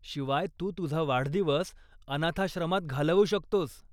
शिवाय, तू तुझा वाढदिवस अनाथाश्रमात घालवू शकतोस.